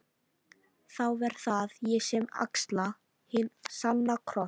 Þá verð það ég sem axla hinn sanna kross.